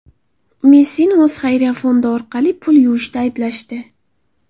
Messini o‘z xayriya fondi orqali pul yuvishda ayblashdi.